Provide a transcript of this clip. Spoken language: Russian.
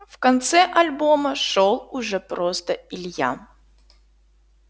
в конце альбома шёл уже просто илья